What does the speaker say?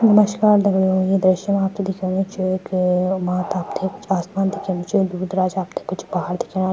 नमस्कार दगड़ियों ये दृश्य मा आपथे दिखेणु च क माथ आपथे पीछे आसमान दिखेणु च दूर-दराज आपथे कुछ पहाड़ दिख्येणा।